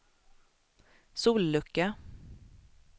sollucka